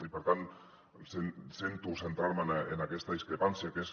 i per tant sento centrar me en aquesta discrepància que és